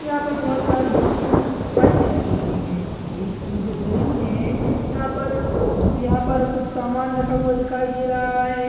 यहां पर बहुत सारी बोक्सिग पंच रखे हुए है एक शूज उतरे हुए है यहां पर यहां पर कुछ सामान रखा हुआ दिखाई दे रहा है।